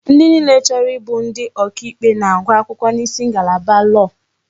Ndi niile chọrọ ịbụ ndi ọkà ikpe na-agụ akwụkwọ n'isi ngalaba lọọ.